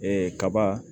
Ee kaba